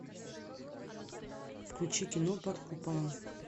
включи кино под куполом